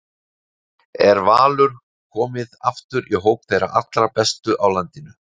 Er Valur komið aftur í hóp þeirra allra bestu á landinu?